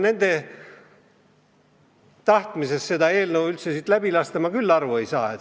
Nende tahtmisest see eelnõu siit läbi lasta ma küll aru ei saa.